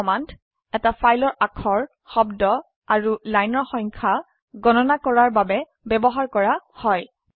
এই কমান্ড এটা ফাইলৰ অাক্ষৰ শব্দ আৰু লাইনৰ সংখ্যা গণনা কৰাৰ বাবে ব্যবহাৰ কৰা হয়